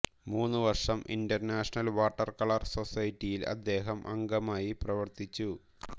മൂന്നുവർഷം international water colour സൊസൈറ്റിയിൽ അദ്ദേഹം അംഗമായി പ്രവർത്തിച്ചു